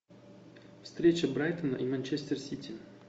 встреча брайтона и манчестер сити